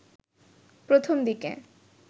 প্রথম দিকে